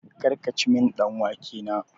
Kar kici min ɗan wake na!